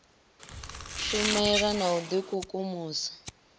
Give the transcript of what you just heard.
shumela na u d ikukumusa